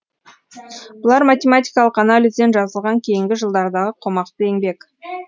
бұлар математикалық анализден жазылған кейінгі жылдардағы қомақты еңбек